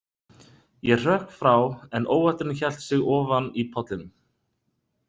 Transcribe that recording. Ég hrökk frá en óvætturin hélt sig ofan í pollinum.